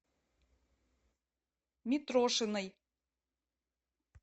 митрошиной